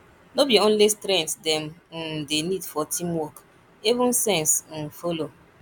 no be only strength dem um dey need for teamwork even sense um follow